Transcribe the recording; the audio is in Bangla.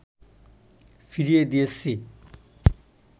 ফিরিয়ে দিয়েছি